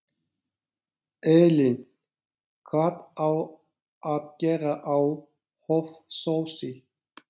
Elín: Hvað á að gera á Hofsósi?